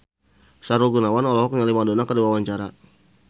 Sahrul Gunawan olohok ningali Madonna keur diwawancara